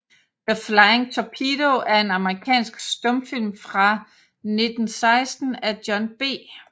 The Flying Torpedo er en amerikansk stumfilm fra 1916 af John B